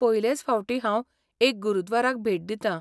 पयलेच फावटी हांव एका गुरद्वाराक भेट दितां.